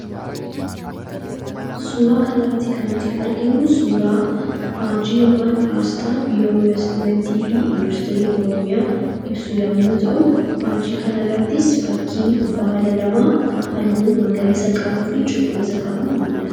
Suuraa kana irratti kan nuti arginu, suuraa faajjii yookaan asxaa biiroo investimentii fi industirii Oromiyaa ibsu yemmuu ta'u, faajjii kana irrattis innis baala lama halluu cuquliisa qabu ni mul'ata.